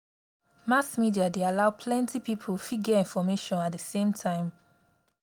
mass media dey allow plenty pipo fit get information at di same time